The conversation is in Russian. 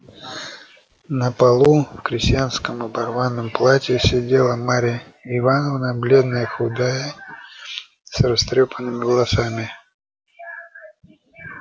на полу в крестьянском оборванном платье сидела марья ивановна бледная худая с растрёпанными волосами